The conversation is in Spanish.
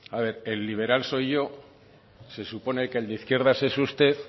el liberal soy yo se supone que el de izquierdas es usted